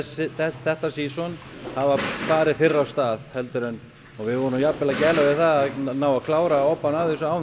þetta síson hafa farið fyrr af stað og við vorum jafnan að gæla við það að ná að klára obbann af þessu áður